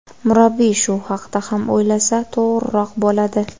Murabbiy shu haqda ham o‘ylasa to‘g‘riroq bo‘ladi.